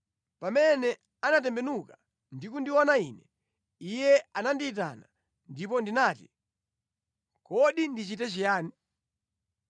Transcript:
Pamene anatembenuka ndi kundiona ine, iye anandiyitana, ndipo ndinati, ‘Kodi ndichite chiyani?’ ”